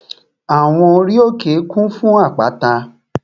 Àwọn ori òkè kún fún àpáta